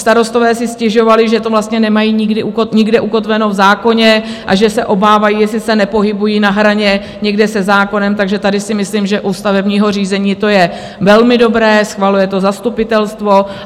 Starostové si stěžovali, že to vlastně nemají nikde ukotveno v zákoně a že se obávají, jestli se nepohybují na hraně někde se zákonem, takže tady si myslím, že u stavebního řízení to je velmi dobré - schvaluje to zastupitelstvo.